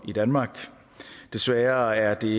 i danmark desværre er det